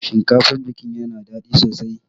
Shinkafan biki yana daɗi sosai.